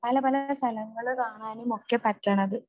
പല പല സ്ഥലങ്ങള് കാണാനുമൊക്കെ പറ്റണത്.